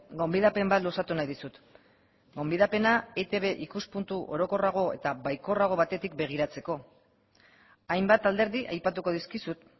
gonbidapen bat luzatu nahi dizut gonbidapena etb ikuspuntu orokorrago eta baikorrago batetik begiratzeko hainbat alderdi aipatuko dizkizut